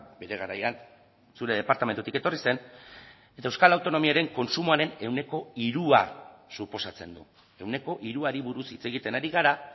bere garaian zure departamentutik etorri zen eta euskal autonomiaren kontsumoaren ehuneko hirua suposatzen du ehuneko hiruari buruz hitz egiten ari gara